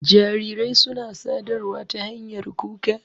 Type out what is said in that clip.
Jarirai suna sadarwa ta hanyar kuka.